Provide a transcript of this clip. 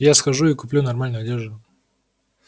я схожу и куплю нормальную одежду